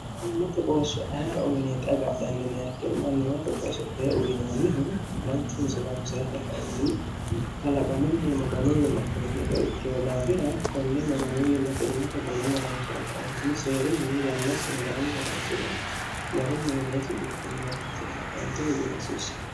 immate qoosso aera uyineeti agaadhannineakkiru mannimate qoossote uyinoonnihu manchu misironsere kainti qalaqamunni maganuwiinna firnicoo daafira konne maganuwiinna firnata garunnransi're kaintini seerunni yannasine garunnrnsi're garunni uneesi bikkinnya ronsi're kaentinni gudasiisse